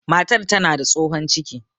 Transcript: Matar tana da tsohon ciki